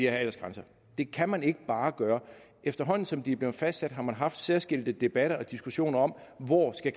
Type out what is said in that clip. aldersgrænser det kan man ikke bare gøre efterhånden som grænserne er blevet fastsat har man haft særskilte debatter og diskussioner om hvor de